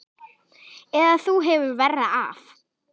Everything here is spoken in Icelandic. Eða þú hefur verra af